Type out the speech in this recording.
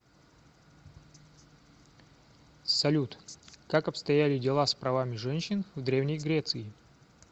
салют как обстояли дела с правами женщин в древней греции